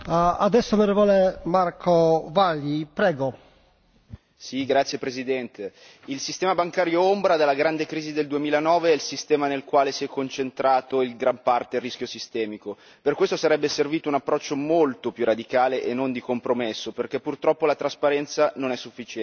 Signor Presidente, onorevoli colleghi, il sistema bancario ombra dalla grande crisi del 2009 è il sistema nel quale si è concentrato in gran parte il rischio sistemico. Per questo sarebbe servito un approccio molto più radicale e non di compromesso, perché purtroppo la trasparenza non è sufficiente.